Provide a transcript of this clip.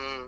ಹ್ಮ್.